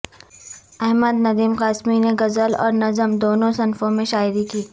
احمد ندیم قاسمی نے غزل اور نظم دونوں صنفوں میں شاعری کی